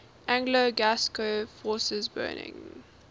anglo gascon forces burning